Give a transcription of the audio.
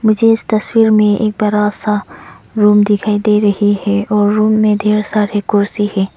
मुझे इस तस्वीर में एक बड़ा सा रूम दिखाई दे रही है और रूम में ढेर सारे कुर्सी है।